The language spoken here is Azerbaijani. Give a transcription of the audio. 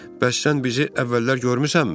Bəs sən bizi əvvəllər görmüsənmi?